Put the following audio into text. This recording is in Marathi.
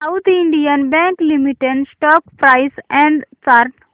south Indian bank limited stock price and chart